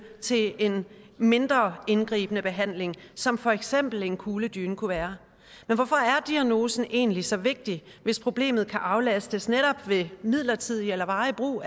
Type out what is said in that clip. til en mindre indgribende behandling som for eksempel en kugledyne kunne være men hvorfor er diagnosen egentlig så vigtig hvis problemet kan aflastes netop ved midlertidig eller varig brug